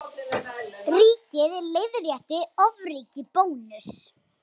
Ríkið leiðrétti ofríki Bónuss